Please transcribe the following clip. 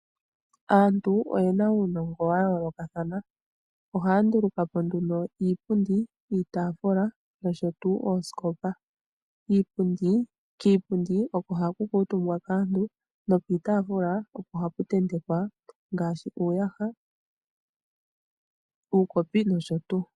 Aantu oyena uunongo wayoolokathana ohaa nduluka po nduno iipundi, iitaafula nosho tuu oosikopa. Kiipundi oko haku kuutumbwa kaantu nokiitaafula oko haku ntentekwa ngaashi uuyaha, uukopi nosho tuu.